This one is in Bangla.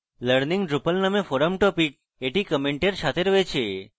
learning drupal নামে forum topic এটি comment সাথে রয়েছে